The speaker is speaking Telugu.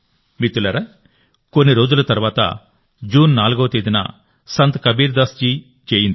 మిత్రులారాకొన్ని రోజుల తర్వాత జూన్ 4వ తేదీన సంత్ కబీర్దాస్ జీ జయంతి